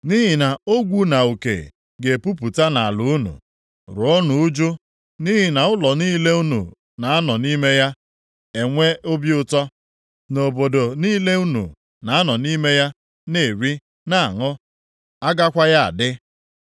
Nʼihi na ogwu na uke ga-epupụta nʼala unu. Ruonụ uju, nʼihi na ụlọ niile unu na-anọ nʼime ya enwe obi ụtọ, na obodo niile unu na-anọ nʼime ya na-eri, na-aṅụ agakwaghị adị.